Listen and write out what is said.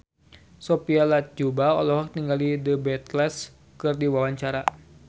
Sophia Latjuba olohok ningali The Beatles keur diwawancara